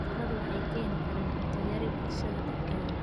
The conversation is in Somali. Cuduradu waxay keeni karaan cunto yari bulshada dhexdeeda.